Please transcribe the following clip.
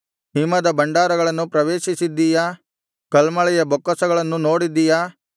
ಹಿಮದ ಭಂಡಾರಗಳನ್ನು ಪ್ರವೇಶಿಸಿದ್ದೀಯಾ ಕಲ್ಮಳೆಯ ಬೊಕ್ಕಸಗಳನ್ನು ನೋಡಿದ್ದೀಯಾ